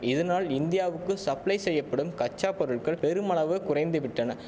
இதனால் இந்தியாவுக்கு சப்ளை செய்யப்படும் கச்சா பொருள்கள் பெருமளவு குறைந்து விட்டன